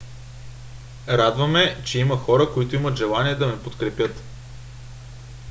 радва ме че има хора които имат желание да ме подкрепят